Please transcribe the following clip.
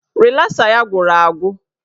Rịlasa ya gwụrụ agwụ